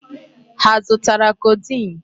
Ha azụtara codeine?